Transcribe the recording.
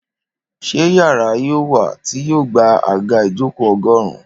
Ṣé yàrá yóò wà tí yoo gba àga ijoko ogórun?